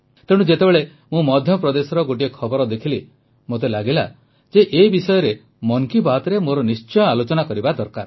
ତେଣୁ ଯେତେବେଳେ ମୁଁ ମଧ୍ୟପ୍ରଦେଶର ଗୋଟିଏ ଖବର ଦେଖିଲି ମୋତେ ଲାଗିଲା ଯେ ଏ ବିଷୟରେ ମନ୍ କି ବାତ୍ରେ ମୋର ନିଶ୍ଚୟ ଆଲୋଚନା କରିବା ଦରକାର